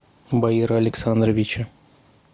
баира александровича